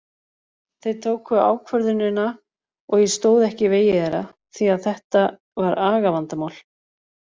Þeir tóku ákvörðunina og ég stóð ekki í vegi þeirra því að þetta var agavandamál.